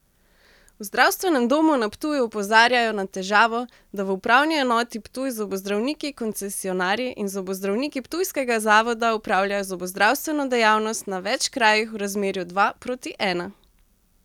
V zdravstvenem domu na Ptuju opozarjajo na težavo, da v upravni enoti Ptuj zobozdravniki koncesionarji in zobozdravniki ptujskega zavoda opravljajo zobozdravstveno dejavnost na več krajih v razmerju dva proti ena.